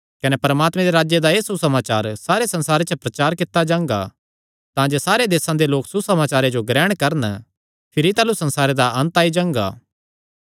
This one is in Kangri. कने परमात्मे दे राज्जे दा एह़ सुसमाचार सारे संसारे च प्रचार कित्ता जांगा तांजे सारे देसां दे लोक सुसमाचारे जो ग्रहण करन भिरी ताह़लू संसारे दा अन्त आई जांगा